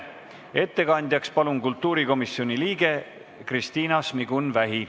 Ettekandjaks palun kultuurikomisjoni liikme Kristina Šmigun-Vähi.